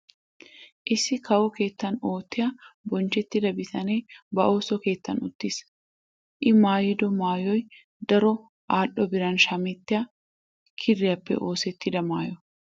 Issi kawo keettan oottiya bonchchettida bitanee ba ooso keettan uttiis. I maayido maayoy daro al"o biran shamettiya kiriyappe oosettida maayo.